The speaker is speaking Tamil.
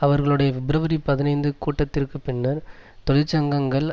அவர்களுடைய பிப்ரவரி பதினைந்து கூட்டத்திற்கு பின்னர் தொழிற்சங்கங்கள்